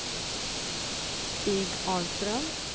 Stig Ahlström